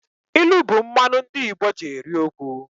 Ilu bụ mmanụ ndị Igbo ji eri okwu